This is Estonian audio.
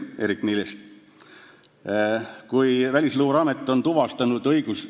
Eerik-Niiles ütles niimoodi, et kui Välisluureamet on tuvastanud ...